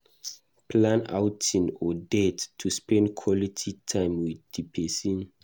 Plan outing or date to spend quality time with di person